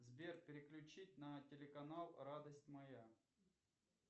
сбер переключить на телеканал радость моя